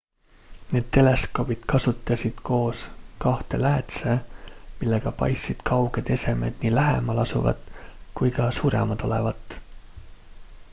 need teleskoobid kasutasid koos kahte läätse millega paistsid kauged esemed nii lähemal asuvat kui ka suuremad olevat